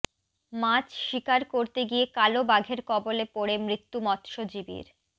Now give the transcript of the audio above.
মাছ শিকার করতে গিয়ে কালো বাঘের কবলে পড়ে মৃত্যু মৎস্যজীবীর